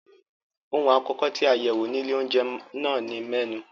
Ohun àkọ́kọ́ tí a yẹ̀wò ní ilé-oúnjẹ náà ni mẹ́nù.